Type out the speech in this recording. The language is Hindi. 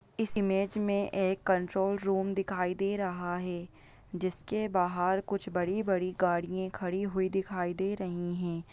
इस इमेज मे एक कंट्रोल रूम दिखाई दे रहा है जिसके बाहर कुछ बड़ी-बड़ी गाड़ियाँ खड़ी हुई दिखाई दे रही है।